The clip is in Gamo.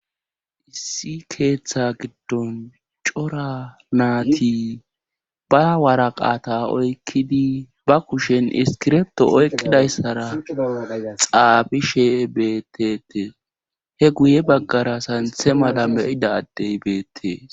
issi keeththa giddon cora naati ba wara qaata oykkidi ba kushen iskirepto oyqidayssara xaabishe beettete he guye baggara santhe mala meyida addey beettee